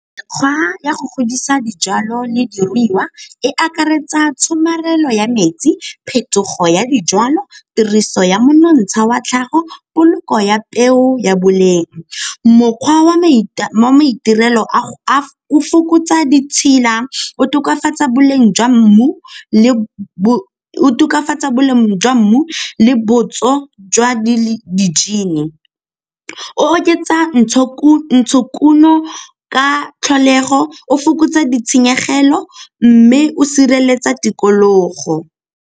Mekgwa ya go godisa dijalo le diruiwa e akaretsa tshomarelo ya metsi, phetogo ya dijwalo, tiriso ya monontsha wa tlhago poloko ya peo ya boleng. Mokgwa wa maitirelo o fokotsa ditshila, o tokafatsa boleng jwa mmu le botso jwa , o oketsa ntshokuno ka tlholego, o fokotsa ditshenyegelo mme o sireletsa tikologo.